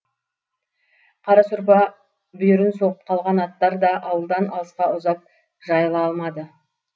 қара сорпа бүйірін соғып қалған аттар да ауылдан алысқа ұзап жайыла алмады